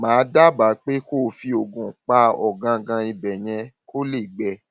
màá dábàá pé kó o fi oògùn pa ọgángán ibẹ yẹn kó lè gbẹ